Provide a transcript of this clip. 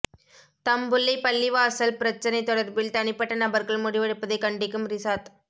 தம்புள்ளை பள்ளிவாசல் பிரச்சினை தொடர்பில் தனிப்பட்ட நபர்கள் முடிவெடுப்பதை கண்டிக்கும் ரிசாத்